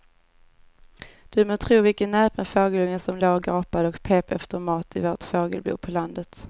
Du må tro vilken näpen fågelunge som låg och gapade och pep efter mat i vårt fågelbo på landet.